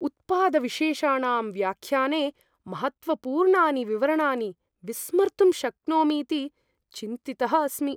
उत्पादविशेषाणां व्याख्याने महत्त्वपूर्णानि विवरणानि विस्मर्तुं शक्नोमीति चिन्तितः अस्मि।